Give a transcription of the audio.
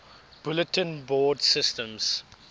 bulletin board systems